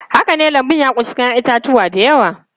Haka ne, lambun ya ƙunshi 'ya'yan itatuwa da yawa.